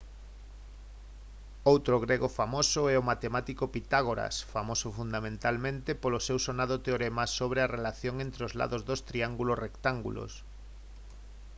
outro grego famoso é o matemático pitágoras famoso fundamentalmente polo seu sonado teorema sobre a relación entre os lados dos triángulos rectángulos